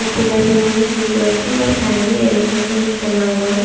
और पिलर बने हुए हैं ब्लू कलर के और साइड में येलो कलर का कुछ बना हुआ है।